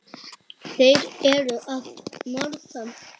Þeir eru að norðan.